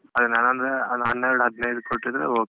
ಅದೆ ನಾನಂದ್ರೆ ಅದು ಹೆನ್ನೆರಡು ಹದ್ನೈದು ಕೊಟ್ಟಿದ್ರೆ okay .